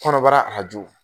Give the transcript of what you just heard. rɔnɔbara arajo